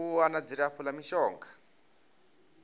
u wana dzilafho la mishonga